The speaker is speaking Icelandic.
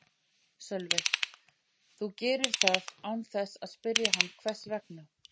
Sölvi: Og þú gerir það án þess að spyrja hann hvers vegna?